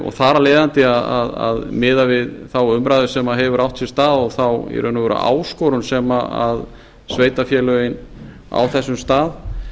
og þar af leiðandi miðað við þá umræðu sem hefur átt sér stað og í raun og veru þá áskorun sem sveitarfélögin á þessum stað